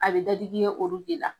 A be dadigi kɛ olu de la.